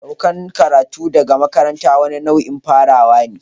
Saukan karatu daga makaranta wani nau'in farawa ne.